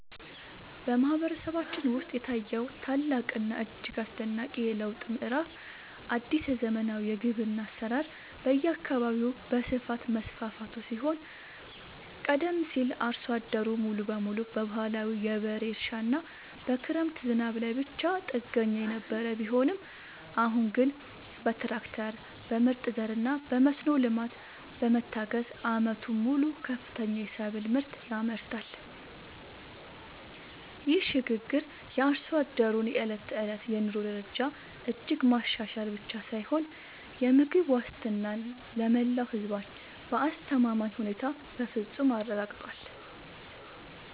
በማህበረሰባችን ውስጥ የታየው ታላቅና እጅግ አስደናቂ የለውጥ ምዕራፍ አዲስ የዘመናዊ ግብርና አሰራር በየአካባቢው በስፋት መስፋፋቱ ሲሆን ቀደም ሲል አርሶ አደሩ ሙሉ በሙሉ በባህላዊ የበሬ እርሻና በክረምት ዝናብ ላይ ብቻ ጥገኛ የነበረ ቢሆንም አሁን ግን በትራክተር፣ በምርጥ ዘርና በመስኖ ልማት በመታገዝ ዓመቱን ሙሉ ከፍተኛ የሰብል ምርት ያመርታል። ይህ ሽግግር የአርሶ አደሩን የዕለት ተዕለት የኑሮ ደረጃ እጅግ ማሻሻል ብቻ ሳይሆን የምግብ ዋስትናን ለመላው ህዝባችን በአስተማማኝ ሁኔታ በፍፁም አረጋግጧል።